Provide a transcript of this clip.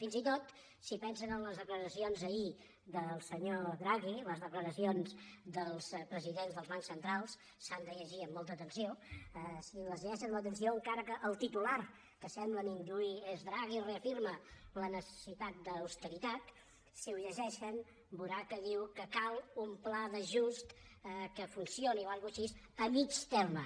fins i tot si pensen en les declaracions ahir del senyor draghi les declaracions dels presidents dels bancs centrals s’han de llegir amb molta atenció si les llegeixen amb atenció encara que el titular que semblen induir és draghi reafirma la necessitat d’austeritat si ho llegeixen veuran que diu que cal un pla d’ajust que funcioni o alguna cosa així a mitjà termini